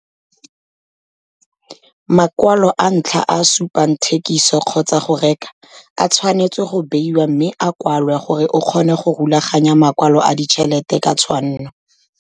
Makwalo a ntlha a a supang thikiso kgotsa go reka a tshwanetswe go beiwa mme a kwalwe gore o kgone go rulaganya makwalo a ditšhelete ka tshwanno.